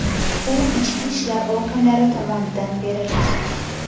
U ichki ishlar organlari tomonidan beriladi.